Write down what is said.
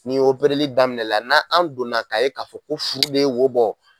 Ni daminɛ na, n'an donna ka ye ka fɔ ko furu de ye wo bɔ